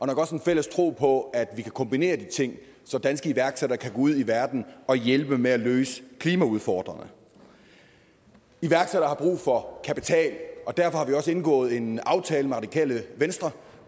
nok også en fælles tro på at vi kan kombinere de ting så danske iværksættere kan gå ud i verden og hjælpe med at løse klimaudfordringerne iværksættere har brug for kapital og derfor har vi også indgået en aftale med radikale venstre